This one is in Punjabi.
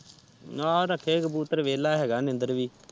ਹਾਂ ਰਾਖੇ ਕਬੂਤਰ ਵੇਹਲਾ ਹੈਗਾ ਨੀਂਦਰ ਵੀ